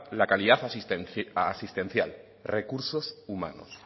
la calidad asistencial recursos humanos